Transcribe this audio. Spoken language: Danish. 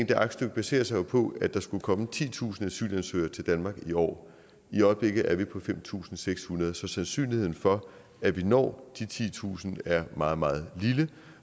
det aktstykke baserer sig jo på at der skulle komme titusind asylansøgere til danmark i år i øjeblikket er vi på fem tusind seks hundrede så sandsynligheden for at vi når de titusind er meget meget lille